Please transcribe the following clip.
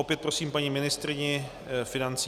Opět prosím paní ministryni financí.